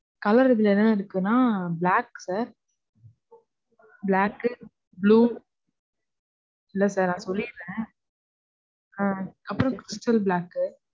Colour இதுல என்னலாம் இருக்குனா, black sir. Black கு, blue, இல்ல sir, நான் சொல்லிறேன். அப்புறம் black கு